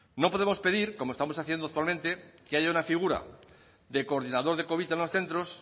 no podemos pedir como estamos haciendo actualmente que haya una figura de coordinador de covid en los centros